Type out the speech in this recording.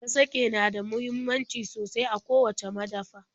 Kasake na da muhimmanci sosai a kowacce madafa.